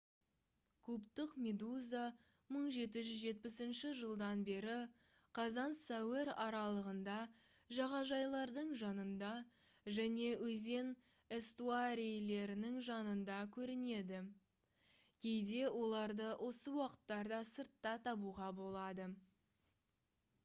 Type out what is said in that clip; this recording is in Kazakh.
кубтық медуза 1770 жылдан бері қазан-сәуір аралығында жағажайлардың жанында және өзен эстуарийлерінің жанында көрінеді кейде оларды осы уақыттарда сыртта табуға болады